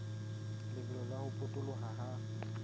lebelo la ho potoloha ha